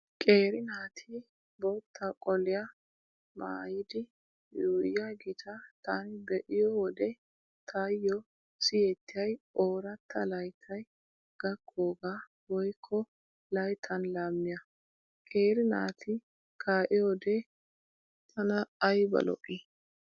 Qeeri naati bootta qoliyaa maayidi yuuyyiyaageeta taani be'iyo wode taayyo siyettiyay ooratta layttay gakkoogaa woykko layttan laamiyaa. Qeeri naati kaa'iyoode tana ayba lo'i.